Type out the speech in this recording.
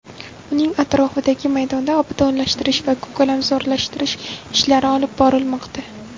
Uning atrofidagi maydonda obodonlashtirish va ko‘kalalamzorlashtirish ishlari olib borilmoqda.